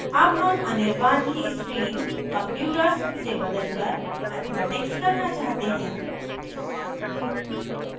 अब हम anirban anirban की stream computers से बदलकर mathematics करना चाहते हैं